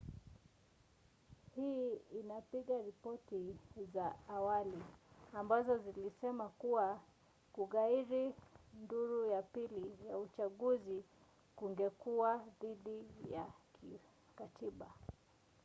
hii inapinga ripoti za awali ambazo zilisema kuwa kughairi duru ya pili ya uchaguzi kungekuwa dhidi ya katiba